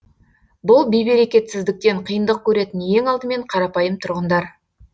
бұл бейберекетсіздіктен қиындық көретін ең алдымен қарапайым тұрғындар